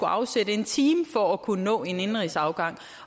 afsætte en time for at kunne nå en indenrigsafgang